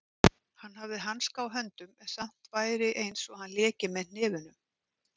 Hann hefði hanska á höndum en samt væri einsog hann léki með hnefunum.